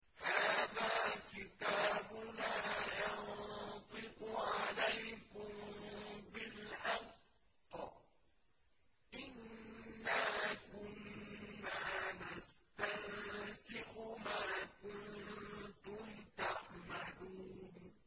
هَٰذَا كِتَابُنَا يَنطِقُ عَلَيْكُم بِالْحَقِّ ۚ إِنَّا كُنَّا نَسْتَنسِخُ مَا كُنتُمْ تَعْمَلُونَ